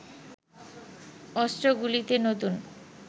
অস্ত্রগুলিতে নতুন